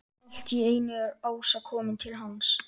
Allt í einu er Ása komin til hans.